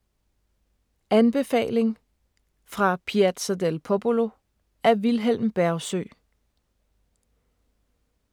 Anbefaling: Fra Piazza del Popolo af Vilhelm Bergsøe